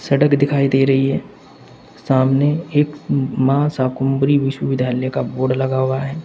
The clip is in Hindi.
सड़क दिखाई दे रही है सामने एक मां शाकंभरी विश्वविद्यालय का बोर्ड लगा हुआ है।